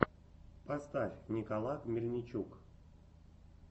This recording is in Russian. поставь николак мельничук